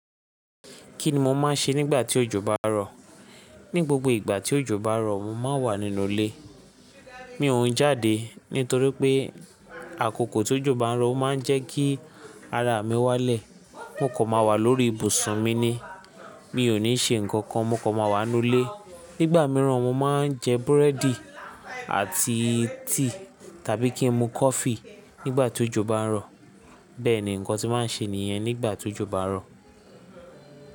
Kí ni mo máa ń ṣe nígbà tí òjò bá ń rọ̀? Ní gbogbo ìgbà tí òjò bá ń rọ̀, mo máa ń wà nínú ilé. Mi òún jáde nítorí pé àkókò tí òjò bá ń rọ̀, ó máa ń jẹ́ kí ara mi wálẹ̀. Mo kò máa wà lórí ìbùsùn mi ni. Mi ò ní ṣe nǹkan kankan, mo kò máa wà nínú ilé. Nígbà mìíràn mo máa ń jẹ búrẹ́dì àti tea tàbí kí n mu coffee nígbà tí òjò bá ń rọ̀. Bẹ́ẹ̀ ni nǹkan tí màá ń ṣe nìyẹn nígbà tí òjò bá ń rọ̀